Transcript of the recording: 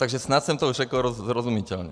Takže snad jsem to řekl srozumitelně.